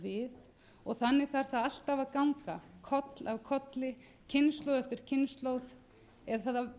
við og þannig þarf það alltaf að ganga koll af kolli kynslóð eftir kynslóð eða að